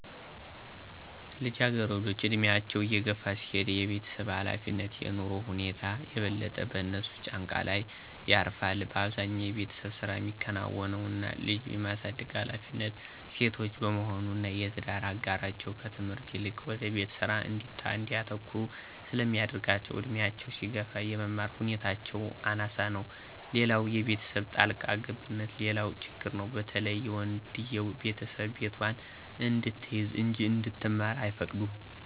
ልጃገረዶች ዕድሜያቸው እየገፋ ሲሄድ የቤተሰብ ኃላፊነት (የኑሮ ሁኔታ) የበለጠ በእነሱ ጫንቃ ላይ ያርፋል። አብዛኛው የቤተሰብ ስራ ሚከናወነው እና ልጅ የማሳደግ ሀላፊነት የሴቶች በመሆኑ እና የትዳር አጋራቸው ከትምህርት ይልቅ ወደ ቤት ስራ እንዲያተኩሩ ስለሚያደረጋቸው እድሜያቸው ሲገፋ የመማር ሁኔታቸው አናሳ ነው። ሌላው የቤተሰብ ጣልቃ ገብነትም ሌላው ችግር ነው በተለይ የወንድየው ቤተሰብ ቤቷን እንድትይዝ እንጂ እንድትማር አይፈቅዱም።